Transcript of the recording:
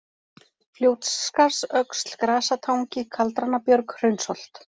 Fljótsskarðsöxl, Grasatangi, Kaldranabjörg, Hraunsholt